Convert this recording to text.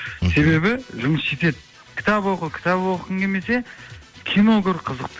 себебі жұмыс жетеді кітап оқы кітап оқығың келмесе кино көр қызық